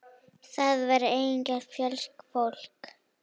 Þar var einnig fjöldi fólks.